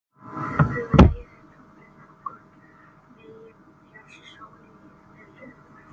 Um leið er tunglið nokkurn veginn fjærst sól í þeirri umferð.